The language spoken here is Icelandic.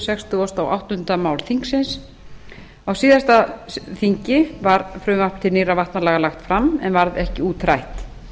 sextugustu og áttunda mál þingsins á síðasta þingi var frumvarp til nýrra vatnalaga lagt fram en varð ekki útrætt